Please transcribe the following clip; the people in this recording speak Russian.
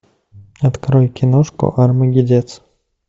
открой киношку армагеддец